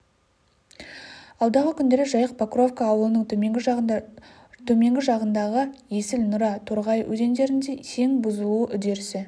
алдағы күндері жайық покровка ауылының төменгі жағында төменгі жағындағы есіл нұра торғай өзендерінде сең бұзылу үдерісі